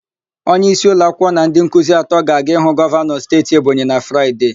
Onyeisi ụlọakwụkwọ na ndị nkuzi atọ ga-aga ịhụ gọvanọ steeti Ebonyi na Fraịde.